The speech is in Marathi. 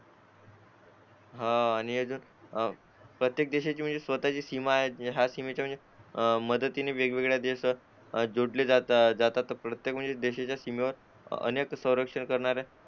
अं आणि प्रत्येक देशाची म्हणजे सीमेची सीमा आहे त्याच्यामध्ये मदतीची आणि वेगवेगळ्या देशात जोडले जातात तर प्रत्येक म्हणजे देशात सीमेवर अनेक संरक्षण करणारे